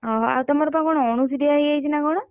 ଓହୋ ଆଉ ତମର ବା କଣ ଅଣସୁଧିଆ ହେଇଯାଇଛି ନା କଣ?